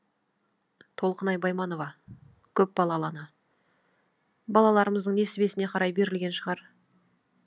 толқынай байманова көпбалалы ана балаларымыздың несібесіне қарай берілген шығар